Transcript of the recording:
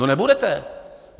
No nebudete.